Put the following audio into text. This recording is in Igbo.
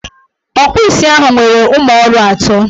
Ọkpụ isi ahụ nwere ụmụọrụ ato.